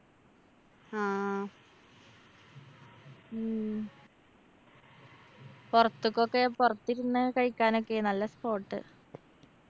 ആ ഉം പൊറത്തൊക്കൊക്കെ പൊറത്തിരുന്ന് കഴിക്കാനൊക്കെ നല്ല spot